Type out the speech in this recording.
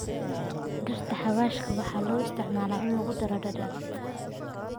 Dhirta xawaashka waxaa loo isticmaalaa in lagu daro dhadhan.